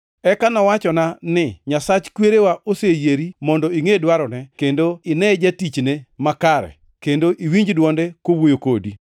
“Eka nowachona ni, ‘Nyasach kwerewa oseyieri mondo ingʼe dwarone kendo ine Jatichne Makare, kendo iwinj dwonde kowuoyo kodi.